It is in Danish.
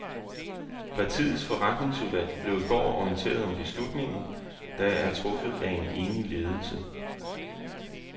Partiets forretningsudvalg blev i går orienteret om beslutningen, der er truffet af en enig ledelse.